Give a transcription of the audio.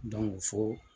fo